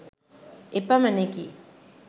එපමණෙකි